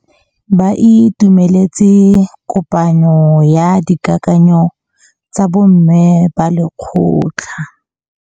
Ba itumeletse kôpanyo ya dikakanyô tsa bo mme ba lekgotla.